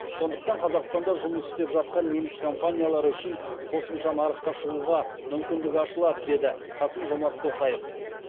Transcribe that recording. сондықтан қазақстанда жұмыс істеп жатқан неміс компаниялары үшін қосымша нарыққа шығуға мүмкіндік ашылады деді қасым жомарт тоқаев